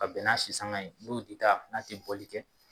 Ka bɛn n'a sisanga ye n'o ti taa n'a tɛ bɔli kɛ